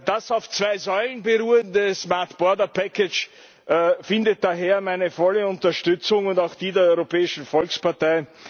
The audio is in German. Das auf zwei Säulen beruhende findet daher meine volle Unterstützung und auch die der Europäischen Volkspartei.